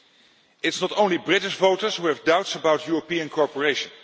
It is not only British voters who have doubts about European cooperation.